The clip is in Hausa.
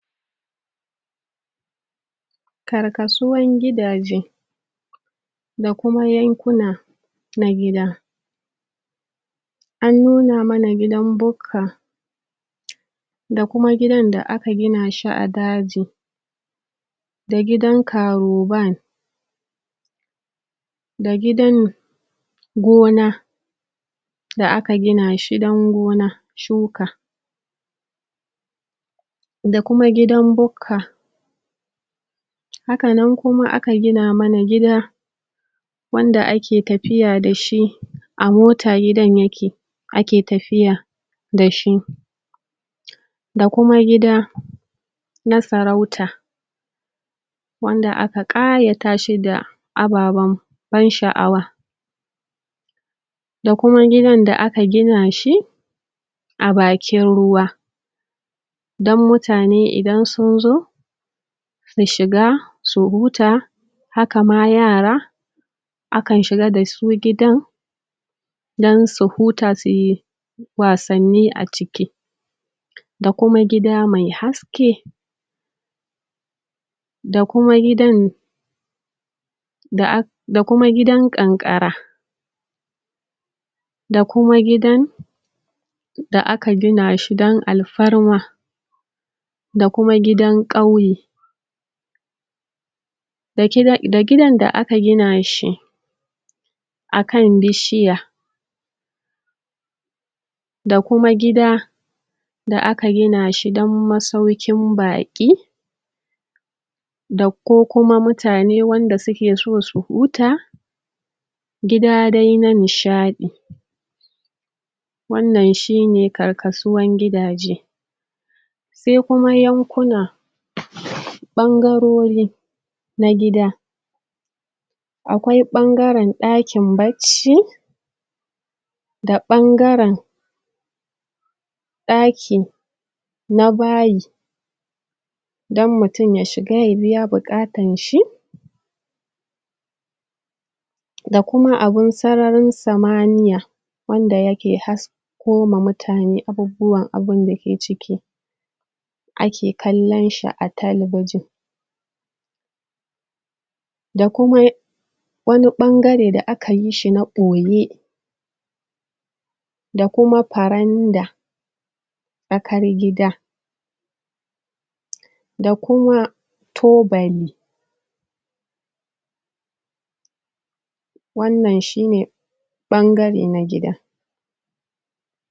karkasuwan gidaje da kuma yankuna na gida an nuna mana gidan bukka da kuma gidan da aka gina shi a daji da gidan karoban da gidan gona da aka gina shi dan gona shuka da kuma gidan bukka haka nan kuma aka gina mana gida wanda ake tafiya dashi a mota gidan yake ake tafiya da shi da kuma gida na sarauta wanda aka ƙayatashi da ababan ban sha'awa da kuma gidan da aka gina shi a bakin ruwa dan mutane idan sun zo su shiga su huta haka ma yara akan shiga dasu gidan dan su huta suyi wasanni a ciki da kuma gida me haske da kuma gidan um da kuma gidan ƙanƙara da kuma gidan da aka gina shi dan alfarma da kuma gidan ƙauye um da gidan da aka gina shi akan bishiya da kuma gida da aka gina shi dan masaukin baƙi da ko kuma wanda mutane suke so su huta gida dai na nishaɗi wannan shine karkasuwan gidaje se kuma yankuna ɓangarori na gida na gida akwai ɓangaren ɗakin bacci da ɓangaren ɗaki na bayi dan mutum ya shiga ya biya buƙatan shi da kuma abun sararin samaniya wanda yake hasko ma mutane abubuwan abunda ke ciki ake kallon shi a talabijin da kuma wani ɓangare da aka yishi na ɓoye da kuma faranda tsakar gida da kuma tubali wannan shine ɓangare na gida